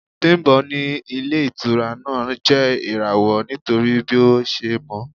Bimbo ní ilé-ìtura náà jẹ́ irawo nítorí bí ó ṣe mọ́.